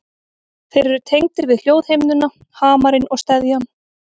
Þeir eru tengdir við hljóðhimnuna, hamarinn og steðjann.